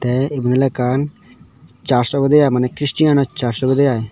tey iben oley ekkan church obode i maneh christian or church obodey i.